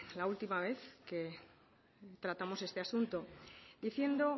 la última vez que tratamos este asunto diciendo